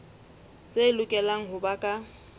tse lokelang ho ba ka